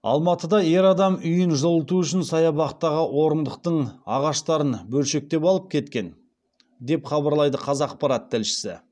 алматыда ер адам үйін жылыту үшін саябақтағы орындықтың ағаштарын бөлшектеп алып кеткен деп хабарлайды қазақпарат тілшісі